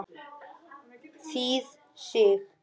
Þýð. Sig.